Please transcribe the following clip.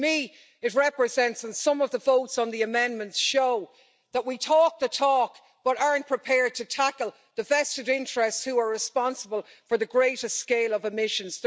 For me, it represents the fact and some of the votes on the amendments show that we talk the talk but aren't prepared to tackle the vested interests who are responsible for the greater scale of emissions.